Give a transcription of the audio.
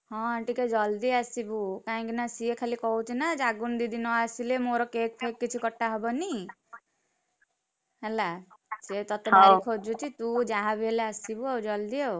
ହଁ ଟିକେ ଜଲ୍‌ଦି ଆସିବୁ। କାହିଁକି ନା ସିଏ ଖାଲି କହୁଛି ନା ଜାଗୁନୁ ଦିଦି ନଆସିଲେ ମୋର cake ଫେକ୍‌ କିଛି କଟା ହବନି, ହେଲା! ସିଏ ତତେ ଭାରି ଖୋଜୁଛି ତୁ ଯାହା ବି ହେଲେ ଆସିବୁ ଆଉ ଜଲଦି ଆଉ।